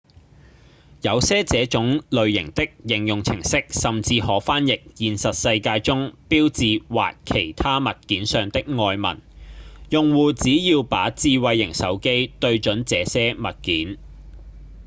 有些這種類型的應用程式甚至可翻譯現實世界中標誌或其他物件上的外文用戶只要把智慧型手機對準這些物件